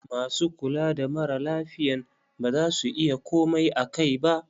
MAsu kula da mara lafiyan ba za su iya komai akai ba.